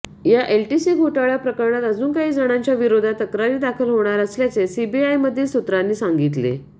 या एलटीसी घोटाळा प्रकरणात अजून काही जणांच्या विरोधात तक्रारी दाखल होणार असल्याचे सीबीआयमधील सूत्रांनी सांगितले